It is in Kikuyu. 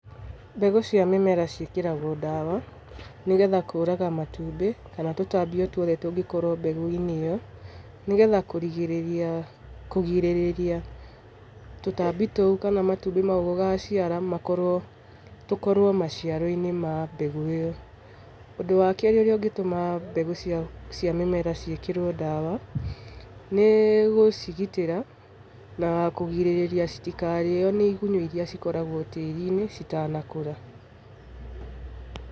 Mbegũ cia mĩmera ciĩkĩragwo dawa nĩgetha kũraga matumbĩ kana tũtambi o twothe tũngĩkorwo mbegũ-inĩ ĩyo, nĩgetha kũgirĩrĩria tũtambi tũu kana matumbĩ mau gũgaciara tũkorwo maciaro-inĩ ma mbegũ ĩyo. Ũndũ wakerĩ ũrĩa ũngĩtũma mbegũ cia mĩmera ciĩkĩrwo dawa, nĩgũcigitĩra na kũgirĩria nĩigunyũ iria cikoragwo tĩri-inĩ citanakũra.